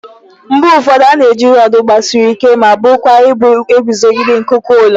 Mgbe ụfọdụ a na-eji rọọdụ gbasiri ike ma buo kwa ibu eguzogide nkuku ụlọ.